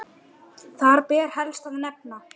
Þar ber helst að nefna